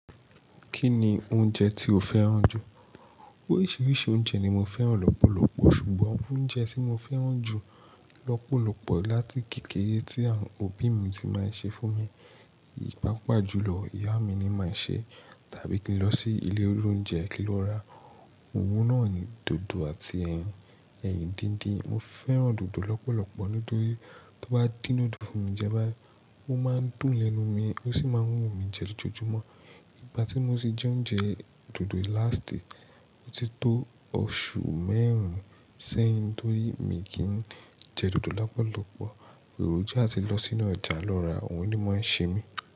Kí ni oúnjẹ tí o fẹ́ràn jù? Oríṣiríṣi oúnjẹ ni mo fẹ́ràn lọ́pọ̀lọpọ̀ ṣùgbọ́n oúnjẹ tí mo fẹ́ràn jù lọ́pọ̀lọpọ̀ láti kékeré tí àwọn òbí mi ti máa ń ṣe fún mi, ní papajulo ìyá mi ni máa ń ṣe tàbí kí n lọ sí ilé olóoúnjẹ kí n lọ rà. Òun náà ni dòdò àti ẹyin, ẹyin díndín. Mo fẹ́ràn dòdò lọ́pọ̀lọpọ̀ nítorí tó bá dín dòdò fún mi jẹ báyìí, ó máa ń dùn lẹnu mi, ó sì máa ń wù mí jẹ lọjọjumọ. Ìgbà tí mo ti jẹ oúnjẹ dòdò láàstì, ó ti tó oṣù mẹ́rin sẹ́yìn torí mi kì í jẹ dòdò lọ́pọ̀lọpọ̀. Òròjú àti lọ sínú ọjà lọ rà òun ni máa ń ṣe mi.